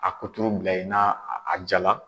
A kuturu bila yen, n'a a ja la.